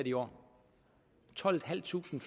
i år tolvtusinde